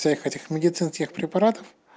цех этих медицинских препаратов